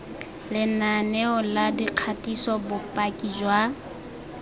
lenaneo la dikgatiso bopaki jwa